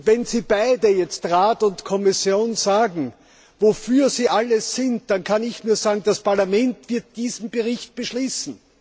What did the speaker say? Wenn Sie beide Rat und Kommission jetzt sagen, wofür Sie alle sind, dann kann ich nur sagen Das Parlament wird diesen Bericht beschließen.